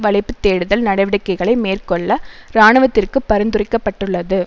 வளைப்பு தேடுதல் நடவடிக்கைகளை மேற்கொள்ள இராணுவத்திற்கு பரிந்துரைக்கப்பட்டுள்ளது